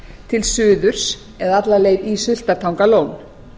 til suðurs eða alla leið í sultartangalón